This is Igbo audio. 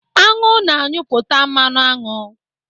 Aṅụ na-anyụpụta mmanụ aṅụ.